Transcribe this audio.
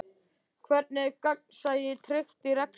Hvernig er gegnsæi tryggt í rekstri?